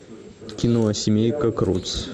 кино семейка крудс